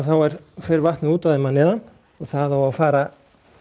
fer vatnið út úr þeim að neðan og það á að fara